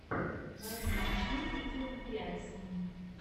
найди смешные видеокомпиляции